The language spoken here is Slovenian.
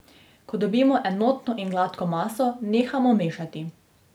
Ko dobimo enotno in gladko maso, nehamo mešati.